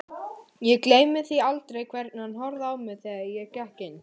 Ég gleymi því aldrei hvernig hann horfði á mig þegar ég gekk inn.